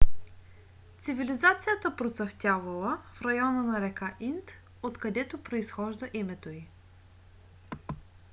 цивилизацията процъфтявала в района на река инд откъдето произхожда името ѝ